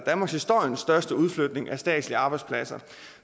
danmarkshistoriens største udflytning af statslige arbejdspladser